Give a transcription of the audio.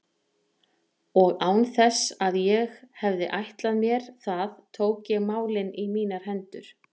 Og án þess að ég hefði ætlað mér það tók ég málin í mínar hendur.